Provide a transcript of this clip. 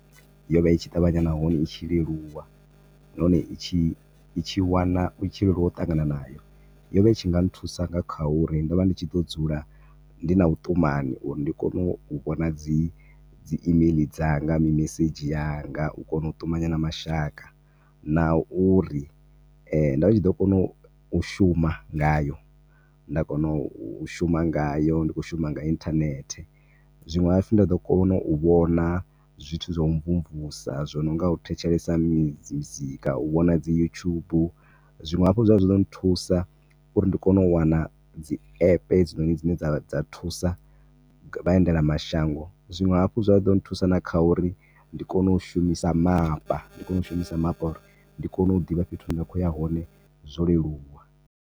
Yo vha itshi ṱavhanya nahone i tshi leluwa, nahone itshi, i tshi wana, itshi leluwa u ṱangana nayo, yo vha itshi nga nthusa na nga kha uri ndo vha ndi tshi ḓo dzula ndi na vhu ṱumanyi uri ndi kone u vhona dzi imeiḽi dzanga, mimesedzhi yanga, u kona u ṱumanya na mashaka, na uri ndo vha ndi tshi ḓo kona u shuma nga yo, nda kona u shuma ngayo, ndi khou shuma nga internet, zwinwe hafhu nda ḓo kona u vhona zwithu zwo u mvumvusa zwo no nga u thetshelesa mizika, u vhona dzi yutshubu, zwinwe hafhu zwa tshi ḓo thusa uri ndi kone u wana dzi app hedzinoni dzine dza thusa vha indela mashango, zwinwe hafhu zwa ḓo nthusa na kha uri ndi kone u shumisa mapa, ndi kone u shumisa mapa uri ndi kone u ḓivha fhethu hune nda kho uya hone zwoleluwa.